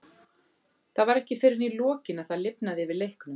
Það var ekki fyrr en í lokin að það lifnaði yfir leiknum.